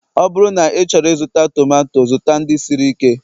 ọ bụrụ na ịchọrọ ịzụta tomato, zụta ndị siri ike